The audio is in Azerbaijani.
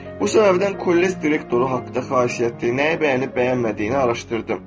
Bu səbəbdən kollec direktoru haqda xasiyyəti nəyi bəyənib bəyənmədiyini araşdırdım.